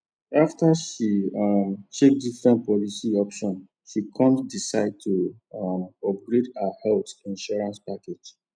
after she um check different policy options she come decide to um upgrade her health insurance package